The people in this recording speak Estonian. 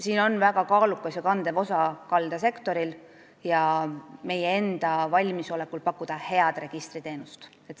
Siin on väga kaalukas ja kandev osa kaldasektoril ja meie enda valmisolekul pakkuda head registriteenust.